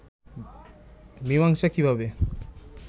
মীমাংসা কিভাবে